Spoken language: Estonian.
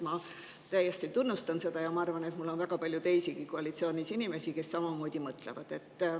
Ma täiesti tunnustan seda ja ma arvan, et meil on koalitsioonis väga palju teisigi inimesi, kes samamoodi mõtlevad.